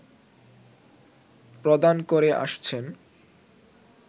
প্রদান করে আসছেন